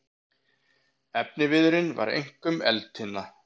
Efniviðurinn var einkum eldtinna.